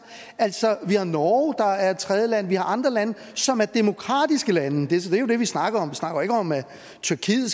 altså der er norge der er et tredjeland og der er andre lande som er demokratiske lande og det er jo det vi snakker om vi snakker ikke om at tyrkiet